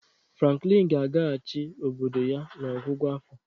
Franklin ga-agagachị obodo ya n'ọgwụgwụ afọ.